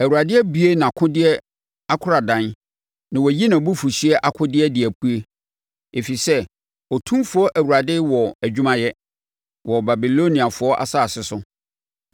Awurade abue nʼakodeɛ akoradan na wayi nʼabufuhyeɛ akodeɛ de apue, ɛfiri sɛ Otumfoɔ Awurade wɔ adwuma yɛ wɔ Babiloniafoɔ asase so.